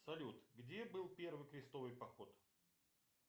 салют где был первый крестовый поход